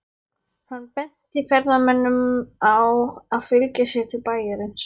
Hann benti ferðamönnunum á að fylgja sér til bæjarins.